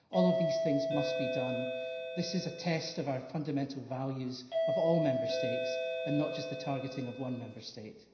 All of these things must be done. This is a test of the fundamental values of all Member States and not just the targeting of one Member State.